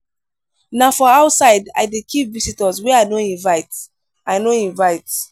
na for outside i dey keep visitors wey i no invite. i no invite.